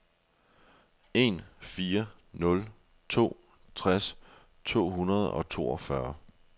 en fire nul to tres to hundrede og toogfyrre